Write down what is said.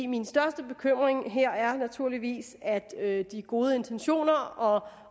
min største bekymring her er naturligvis at de gode intentioner og